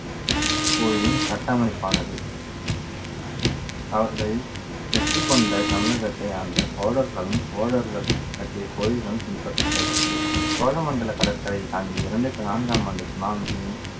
கோயிலின் கட்டமைப்பானது. அவர்களில் வெற்றி கொண்ட தமிழகத்தை ஆண்ட சோழர்களும் சோழர்கள் கட்டிய கோயில்களும் பின்பற்றப்பட்டது சோழ மண்டல கடற்கரையை தாங்கிய இரண்டாயிரத்தி நான்காம் ஆண்டு சுனாமி